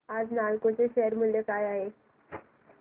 आज नालको चे शेअर मूल्य काय आहे